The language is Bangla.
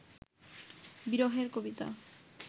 বিরহের কবিতা